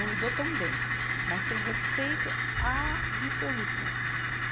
Não me dou tão bem, mas tenho respeito absoluto.